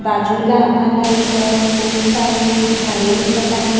बाजूला आम्हाला इथं खूप सारे झाडे दिसत आहेत.